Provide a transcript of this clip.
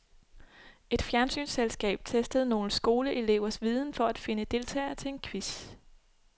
Et fjernsynsselskab testede nogle skoleelevers viden for at finde deltagere til en quiz.